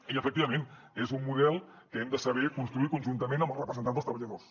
i efectivament és un model que hem de saber construir conjuntament amb els representants dels treballadors